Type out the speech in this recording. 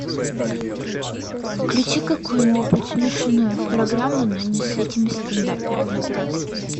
включи какую нибудь смешную программу но не с этими стендаперами дурацкими